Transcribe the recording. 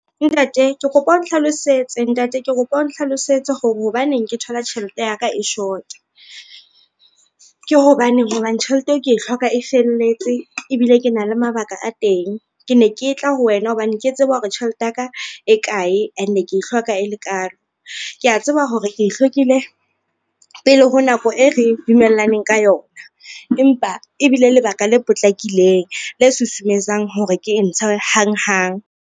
Ntate ke kopa o nhlalosetse hore hobaneng ke thola tjhelete ya ka e short-a, ke hobaneng hobane tjhelete eo ke e hloka e felletse ebile ke na le mabaka a teng ke ne ke tla ho wena hobane ke tseba hore tjhelete ya ka e kae ene ke e hloka e le kalo. Kea tseba hore ke e hlokile pele ho nako e re dumellaneng ka yona, empa ebile lebaka le potlakileng le susumetsang hore ke ntshe hang hang.